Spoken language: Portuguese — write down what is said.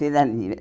Feira livre.